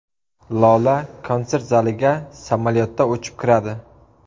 Lola konsert zaliga samolyotda uchib kiradi.